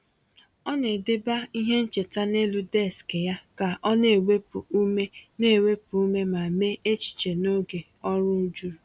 Ọ na-edebe ihe ncheta n’elu deskị ya ka ọ na-ewepụ ume na-ewepụ ume ma mee echiche n’oge ọrụ juru.